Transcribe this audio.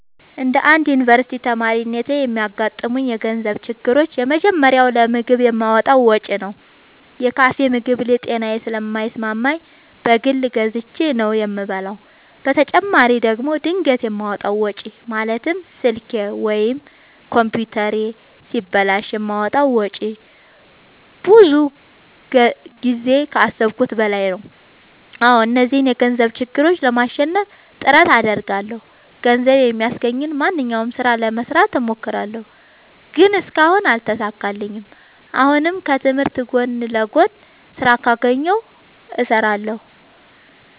እንደ አንድ ዮኒቨርስቲ ተማሪነቴ የሚያጋጥሙኝ የገንዘብ ችግሮች የመጀመሪያው ለምግብ የማወጣው ወጪ ነው። የካፌ ምግብ ለጤናዬ ስለማይስማማኝ በግል ገዝቼ ነው የምበላው በተጨማሪ ደግሞ ድንገት የማወጣው ወጪ ማለትም ስልኬ ወይም ኮምፒውተሬ ሲበላሽ የማወጣው ወጪ ብዙ ጊዜ ከአሠብኩት በላይ ነው። አዎ እነዚህን የገንዘብ ችግሮች ለማሸነፍ ጥረት አደርጋለሁ። ገንዘብ የሚያስገኘኝን ማንኛውንም ስራ ለመስራት እሞክራለሁ። ግን እስካሁን አልተሳካልኝም። አሁንም ከትምህርቴ ጎን ለጎን ስራ ካገኘሁ እሠራለሁ።